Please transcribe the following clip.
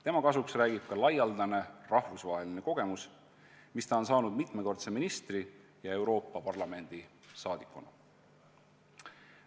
Tema kasuks räägivad ka laialdased rahvusvahelised kogemused, mis ta on saanud mitmekordse ministri ja Euroopa Parlamendi liikmena.